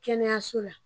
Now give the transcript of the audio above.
Kɛnɛyaso la